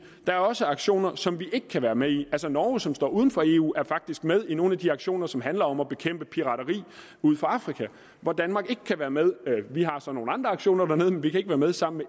er også aktioner som vi ikke kan være med i altså norge som står uden for eu er faktisk med i nogle af de aktioner som handler om at bekæmpe pirateri ud for afrika hvor danmark ikke kan være med vi har så nogle andre aktioner dernede men vi kan ikke være med sammen